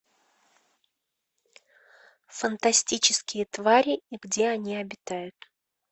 фантастические твари и где они обитают